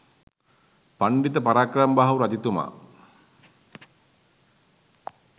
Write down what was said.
පණ්ඩිත පරාක්‍රමබාහු රජතුමා